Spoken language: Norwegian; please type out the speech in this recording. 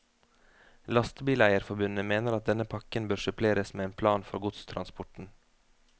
Lastebileierforbundet mener at denne pakken bør suppleres med en plan for godstransporten.